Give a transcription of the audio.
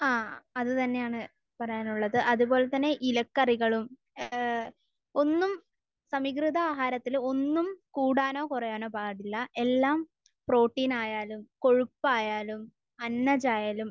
ആഹ്. അത് തന്നെയാണ് പറയാനുള്ളത്. അത്പോലെ തന്നെ ഇലക്കറികളും ഏഹ് ഒന്നും...സമീകൃത ആഹാരത്തിൽ ഒന്നും കൂടാനോ കുറയാനോ പാടില്ല. എല്ലാം പ്രോട്ടീൻ ആയാലും കൊഴുപ്പ് ആയാലും അന്നജമായാലും